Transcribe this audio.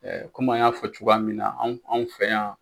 Kɔmi an y'a fɔ cogoya min na anw fɛ yan